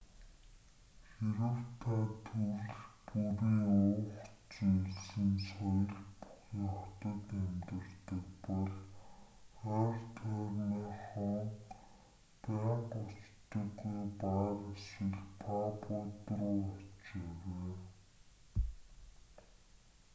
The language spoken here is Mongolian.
хэрэв та төрөл бүрийн уух зүйлсийн соёл бүхий хотод амьдардаг бол ойр тойрныхоо байнга очдоггүй баар эсвэл пабууд руу очоорой